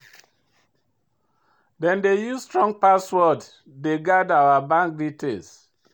Dem dey use strong password dey guard our bank details.